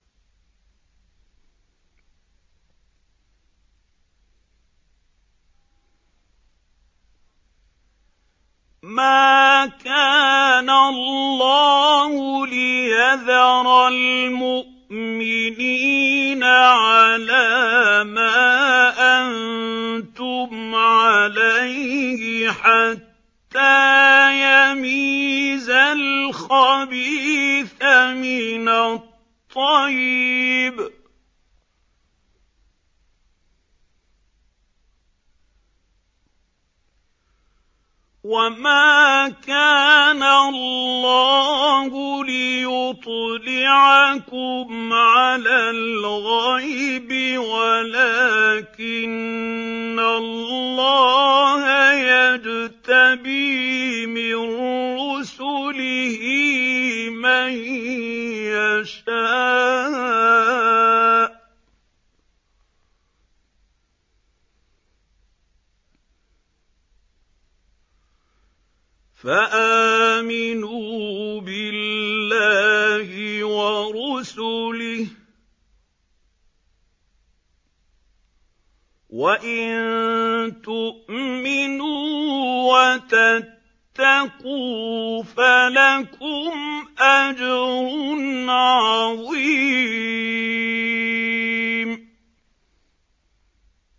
مَّا كَانَ اللَّهُ لِيَذَرَ الْمُؤْمِنِينَ عَلَىٰ مَا أَنتُمْ عَلَيْهِ حَتَّىٰ يَمِيزَ الْخَبِيثَ مِنَ الطَّيِّبِ ۗ وَمَا كَانَ اللَّهُ لِيُطْلِعَكُمْ عَلَى الْغَيْبِ وَلَٰكِنَّ اللَّهَ يَجْتَبِي مِن رُّسُلِهِ مَن يَشَاءُ ۖ فَآمِنُوا بِاللَّهِ وَرُسُلِهِ ۚ وَإِن تُؤْمِنُوا وَتَتَّقُوا فَلَكُمْ أَجْرٌ عَظِيمٌ